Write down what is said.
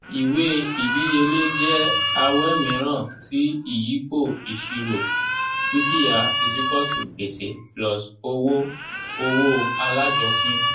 ìwé ìdíyelé jẹ́ awẹ́ mìíràn ti ìyípo ìṣirò: dúkìá is ewual to gbèsè plus owó owó alájọpín.